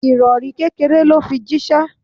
Ìrori kékéré lo fi jísé